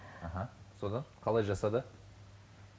аха содан қалай жасады